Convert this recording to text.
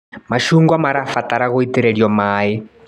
Macungwa marabatara gũitĩrĩrio maĩ.